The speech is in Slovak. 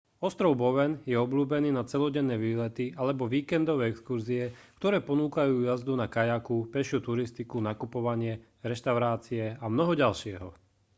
ostrov bowen je obľúbený na celodenné výlety alebo víkendové exkurzie ktoré ponúkajú jazdu na kajaku pešiu turistiku nakupovanie reštaurácie a mnoho ďalšieho